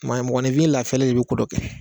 Maa mɔgɔninfin lafiyalen de bɛ ko dɔ kɛ.